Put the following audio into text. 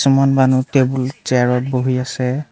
মানুহ টেবুল চেয়াৰত বহি আছে।